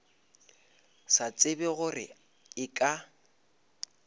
sa tsebe gore e ka